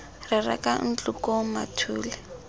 re reka ntlo koo mathule